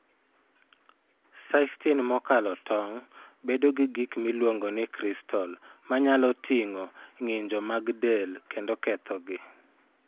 Cystine mokalo tong' bedo gi gik miluongo ni kristal ma nyalo ting'o ng'injo mag del kendo kethogi.